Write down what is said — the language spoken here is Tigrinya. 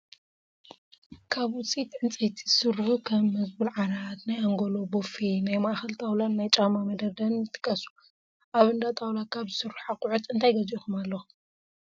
ካብ ውፅኢት ዕንጨይቲ ዝስርሑ ከም መዝቡል ዓራት፣ ናይ ኣንጎሎ ቦፌ፣ ናይ ማእኸል ጣውላን ናይ ጫማ መደርደርን ይጥቀሱ፡፡ ኣብ እንዳ ጣውላ ካብ ዝስርሑ ኣቑሑ እንታይ ገዚእኹም ኣለኹም?